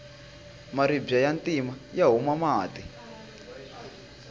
maribye ya ntima ya huma mati